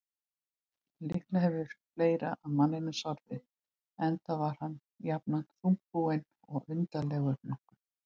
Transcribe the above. En líklega hefur fleira að manninum sorfið, enda var hann jafnan þungbúinn og undarlegur nokkuð.